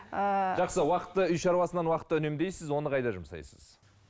ыыы жақсы уақытты үй шаруасынан уақытты үнемдейсіз оны қайда жұмсайсыз